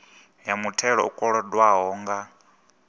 ya muthelo u kolodwaho nga